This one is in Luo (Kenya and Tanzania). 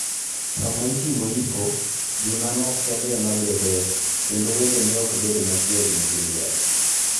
Sama itimo yiko, ji manok kende ema bedoe, kendo wedene ok bed adekiegni gi liel.